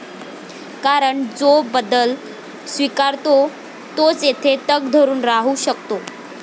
कारण जो बदल स्वीकारतो तोच येथे तग धरून राहू शकतो.